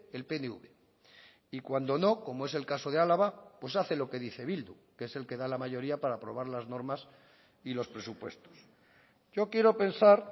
el pnv y cuando no como es el caso de álava pues hace lo que dice bildu que es el que da la mayoría para aprobar las normas y los presupuestos yo quiero pensar